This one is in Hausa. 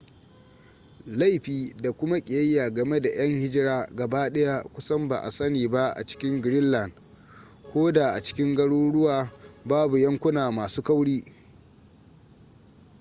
laifi da kuma ƙiyayya game da yan hijira gabaɗaya kusan ba a sani ba a cikin greenland ko da a cikin garuruwa babu yankuna masu kauri